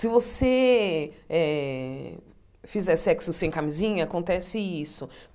Se eh você fizer sexo sem camisinha, acontece isso.